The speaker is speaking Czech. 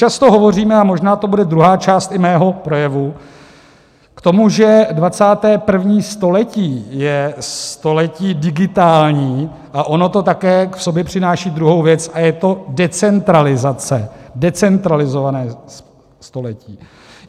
Často hovoříme, a možná to bude druhá část i mého projevu, k tomu, že 21. století je století digitální, a ono to také v sobě přináší druhou věc, a je to decentralizace, decentralizované století.